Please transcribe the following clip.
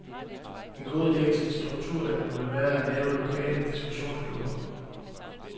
En god ide til en strukturændring ville være at lave lokale diskussionsklubber.